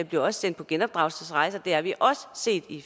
bliver sendt på genopdragelsesrejser det har vi også set i